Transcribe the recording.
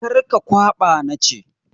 Kar ka kwaɓa na ce!